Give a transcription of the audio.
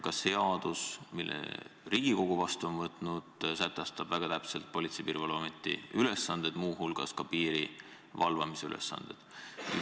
Ka seadus, mille Riigikogu vastu on võtnud, sätestab väga täpselt Politsei- ja Piirivalveameti ülesanded, muu hulgas ka piiri valvamise ülesanded.